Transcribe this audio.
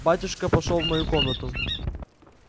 батюшка пошёл в мою комнату